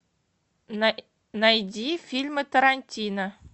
найди фильмы тарантино